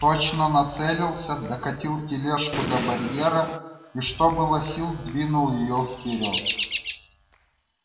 точно нацелился докатил тележку до барьера и что было сил двинул её вперёд